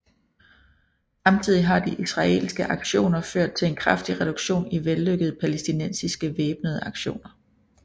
Samtidig har de israelske aktioner ført til en kraftig reduktion i vellykkede palæstinensiske væbnede aktioner